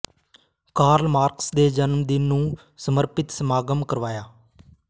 Karl Marx ਦੇ ਜਨਮ ਦਿਨ ਨੂੰ ਸਮਰਪਿਤ ਸਮਾਗਮ ਕਰਵਾਇਆ